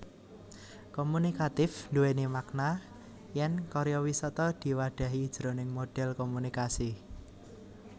Komunikatif nduwèni makna yèn karya sastra diwadhahi jroning modhel komunikasi